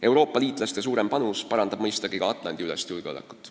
Euroopa liitlaste suurem panus parandab mõistagi ka Atlandi-ülest julgeolekut.